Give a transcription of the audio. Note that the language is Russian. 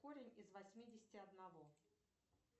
корень из восьмидесяти одного